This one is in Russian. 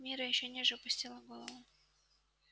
мирра ещё ниже опустила голову